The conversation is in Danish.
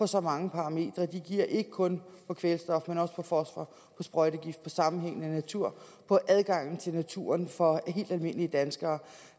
så mange parametre de giver ikke kun på kvælstof men også på fosfor på sprøjtegift på sammenhængende natur på adgangen til naturen for helt almindelige danskere